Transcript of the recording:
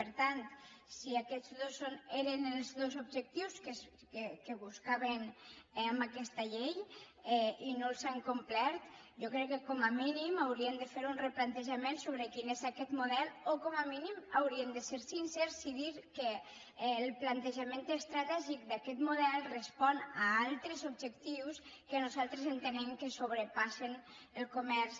per tant si aquests eren els dos objectius que buscaven eh amb aquesta llei i no els han complert jo crec que com a mínim haurien de fer un replantejament sobre quin és aquest model o com a mínim haurien de ser sincers i dir que el plantejament estratègic d’aquest model respon a altres objectius que nosaltres entenem que sobrepassen el comerç